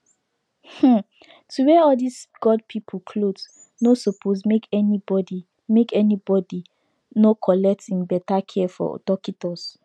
um to wear all these god people cloth nor suppose make any body make any bodi nor collect beta care from dockitos